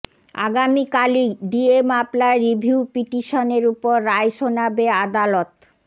আগামীকালই DA মামলার review পিটিশনের ওপর রায় শোনাবে আদালত